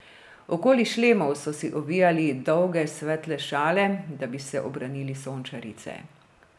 Okoli šlemov so si ovijali dolge svetle šale, da bi se obranili sončarice.